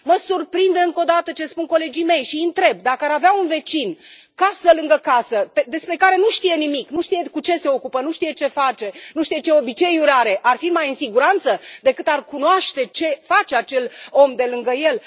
Mă surprinde încă odată ce spun colegii mei și îi întreb dacă ar avea un vecin, casă lângă casă, despre care nu știu nimic, nu știu cu ce se ocupă, nu știu ce face, nu știu ce obiceiuri are, ar fi mai în siguranță decât dacă ar cunoaște ce face acel om de lângă ei?